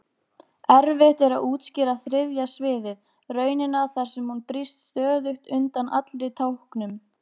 Erfitt er að útskýra þriðja sviðið, raunina þar sem hún brýst stöðugt undan allri táknun.